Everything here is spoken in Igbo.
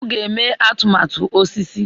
M ga-eme atụmatụ osisi